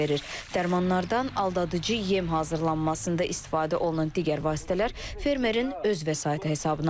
Dərmanlardan aldadıcı yem hazırlanmasında istifadə olunan digər vasitələr fermerin öz vəsaiti hesabına alınır.